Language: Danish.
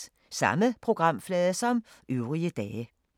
Samme programflade som øvrige dage